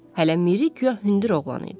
Hələ Miri guya hündür oğlan idi.